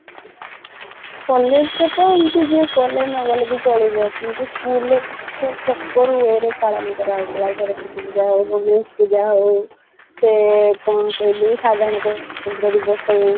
college ରେ ତ ଏମିତି ହୁଏ ଗଲେ ନଗଲେ ବି ଚଲିବ କିନ୍ତୁ school ରେ ପୁରା proper way ରେ ପାଳନ କରାହେଇଥିଲା ସାରସ୍ୱତୀପୂଜା ହଉ ଗଣେଶ ପୂଜା ହଉ ସେ କଣ କହିଲୁ ସାଧାରଣତନ୍ତ୍ର ଦିବସ ହଉ